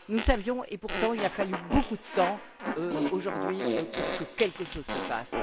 Nous savions et, pourtant, il a fallu beaucoup de temps, aujourd'hui, pour que quelque chose se passe.